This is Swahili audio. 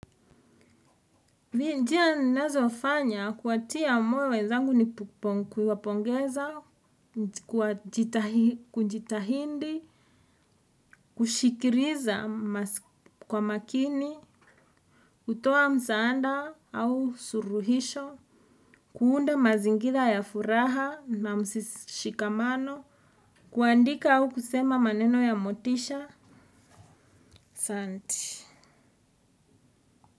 Vinjia nazofanya kuatia moyo wenzangu ni kuponkwi wapongeza, kujitahindi, kushikiriza kwa makini, kutoa msaanda au suruhisho, kuunda mazingila ya furaha na msishikamano, kuandika au kusema maneno ya motisha, asanti.